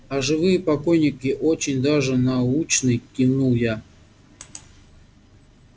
а живые покойники очень даже научны кивнул я